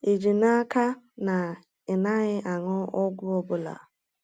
Ị ji n’aka na ị naghị aṅụ ọgwụ ọ bụla?